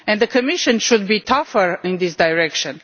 The Commission should be tougher in this direction.